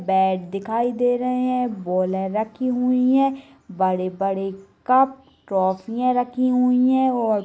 Bat दिखाई दे रहे है। बॉल रखे हुई है। बड़े-बड़े कप ट्रॉफी रखी हुई है और --